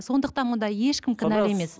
сондықтан мұнда ешкім кінәлі емес